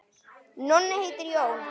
Nonni heitir Jón.